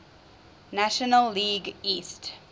national league east